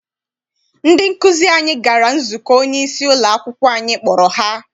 Ndị nkụzi anyị gara nzukọ onyeisi ụlọakwụkwọ anyị kpọrọ ha.